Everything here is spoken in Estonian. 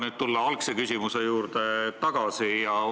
Lubage tulla algse küsimuse juurde tagasi.